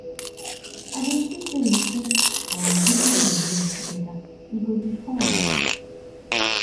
i dey think say we fit um visit museum together e go be fun